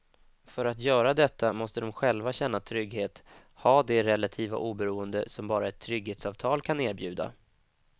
För att göra detta måste de själva känna trygghet, ha det relativa oberoende som bara ett trygghetsavtal kan erbjuda.